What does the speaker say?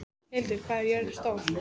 Hildir, hvað er jörðin stór?